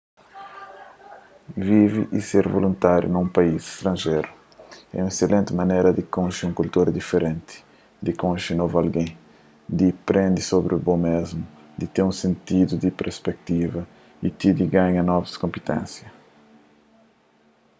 vive y ser voluntáriu na un país stranjeru é un eselenti manera di konxe un kultura diferenti di konxe novu algen di prende sobri bo mésmu di ten un sentidu di perspektiva y ti di ganha novus konpiténsia